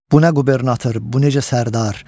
Bu nə qubernator, bu necə sərdar?